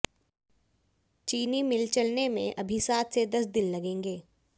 चीनी मिल चलने में अभी सात से दस दिन लगेंगे